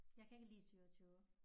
Jeg kan ikke lide 27